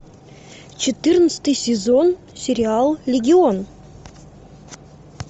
четырнадцатый сезон сериал легион